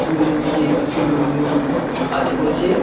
দূরের দিকে কিছু লোকজন কাজ করছে।